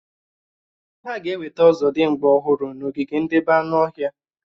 Hà ga-ewetà ọ̀zọ̀dimgba ọhụrụ n'ogige ndebé anụ ọhịa